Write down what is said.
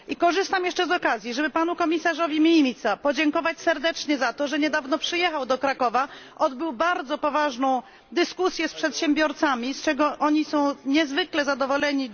Korzystam jeszcze z okazji, żeby panu komisarzowi Mimicy podziękować serdecznie za to, że niedawno przyjechał do Krakowa, odbył bardzo poważną dyskusję z przedsiębiorcami, z czego oni są niezwykle zadowoleni.